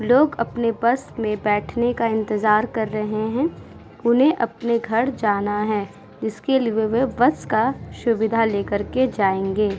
लोग अपने बस में बैठने का इंतज़ार कर रहे हैं। उन्हें अपने घर जाना है। इसके लिए वो बस का सुविधा लेकर के जायेंगे।